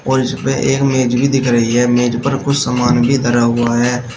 और इसमें एक मेज भी दिख रही है मेज पर कुछ समान भी धरा हुआ है।